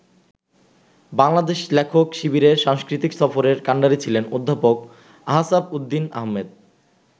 বাংলাদেশ লেখক শিবিরের সাংস্কৃতিক সফরের কান্ডারি ছিলেন অধ্যাপক আসহাবউদ্দিন আহমদ।